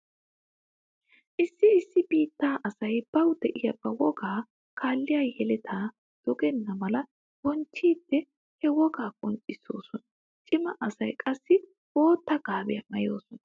Issi issi biittaa asay bawu diya ba wogaa kaalliya yeletay dogenna mala bonchchiiddi he wogaa qonccissoosona. Cima asay qassi bootta gaabiya maayoosona.